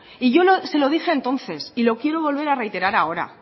y yo se lo dije entonces y lo quiero volver a reiterar ahora